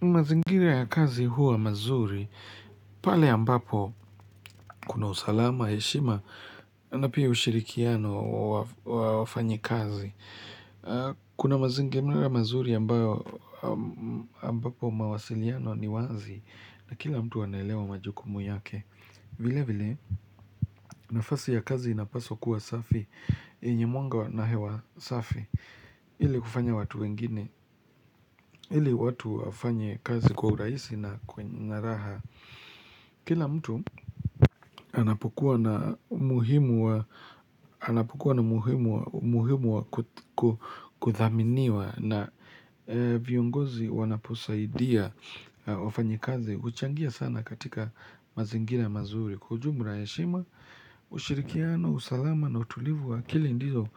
Mazingiri ya kazi huwa mazuri, pale ambapo kuna usalama, heshima, na pia ushirikiano wa wafanyikazi. Kuna mazingiri ya mazuri ambapo mawasiliano ni wazi na kila mtu anaelewa majukumu yake. Vile vile, nafasi ya kazi inapaswa kuwa safi, yenye mwanga na hewa safi. Ile kufanya watu wengine. Ile watu wafanye kazi kwa urahisi na kwenye na raha. Kila mtu anapokuwa na muhimu wa kuthaminiwa na viongozi wanaposaidia wafanyi kazi huchangia sana katika mazingira mazuri. Kwa ujumla heshima, ushirikiano, usalama na utulivu wa akili ndizo